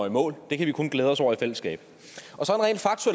i mål det kan vi kun glæde os over i fællesskab